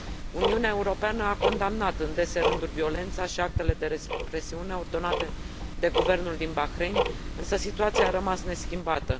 Uniunea Europeană a condamnat în dese rânduri violența și actele de represiune ordonate de guvernul din Bahrain, însă situația a rămas neschimbată.